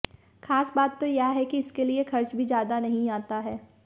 खास बात तो यह है कि इसके लिए खर्च भी ज्यादा नहीं आता है